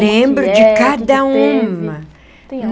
Lembro de cada uma.